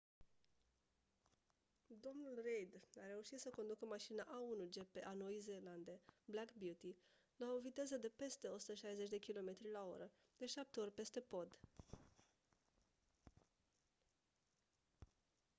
dl reid a reușit să conducă mașina a1 gp a noii zeelande black beauty la viteze de peste 160 km/oră de șapte ori peste pod